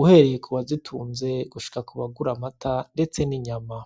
uhereye ku bazitunze gushika kubagura amata ndetse n’inyama.